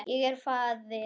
Ég er faðir.